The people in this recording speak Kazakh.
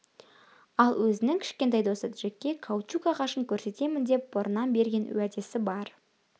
ал өзінің кішкентай досы джекке каучук ағашын көрсетемін деп бұрыннан берген уәдесі бар